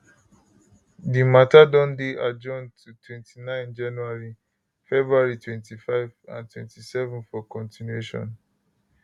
di matter don dey adjourned to 29 january february 25 and 27 for continuation